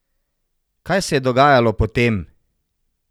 Kaj se je dogajalo potem?